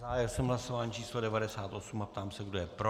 Zahájil jsem hlasování číslo 98 a ptám se, kdo je pro.